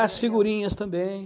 As figurinhas também.